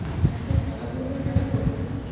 এত খেলাধুলো কেন করতেন?